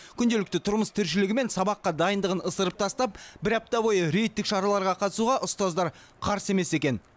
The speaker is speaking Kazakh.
күнделікті тұрмыс тіршілігі мен сабаққа дайындығын ысырып тастап бір апта бойы рейдтік шараларға қатысуға ұстаздар қарсы емес екен